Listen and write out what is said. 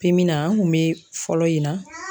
na an kun bɛ fɔlɔ yen na